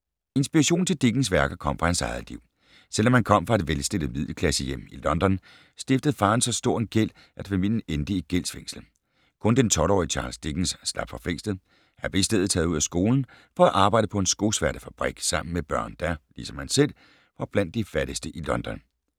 Inspirationen til Dickens værker kom fra hans eget liv. Selvom han kom fra et velstillet middelklassehjem i London, stiftede faren så stor en gæld, at familien endte i gældsfængsel. Kun den 12-årige Charles Dickens slap for fængslet. Han blev i stedet taget ud af skolen for at arbejde på en skosværtefabrik sammen med børn der, ligesom ham selv, var blandt de fattigste i London.